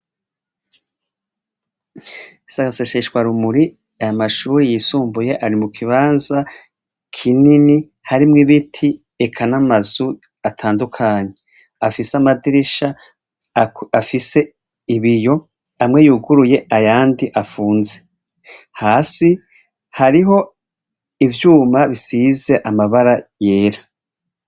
Si agaseseshwa rumuri, aya mashure yisumbuye ari mu kibanza kinini harimwo ibiti eka n'amazu atandukanye. Afise amadirisha afise ibiyo, amwe yuguruye ayandi afunze. Hasi hariho ivyuma bisize amabara yera.